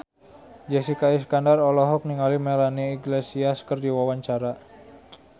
Jessica Iskandar olohok ningali Melanie Iglesias keur diwawancara